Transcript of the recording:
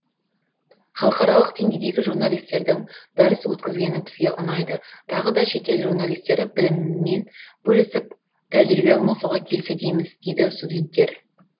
халықаралық деңгейдегі журналистердің дәріс өткізгені бізге ұнайды тағы да шет ел журналистері білімімен бөлісіп тәжірибе алмасуға келсе дейміз дейді студенттер